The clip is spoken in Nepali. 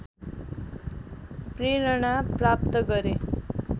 प्रेरणा प्राप्त गरे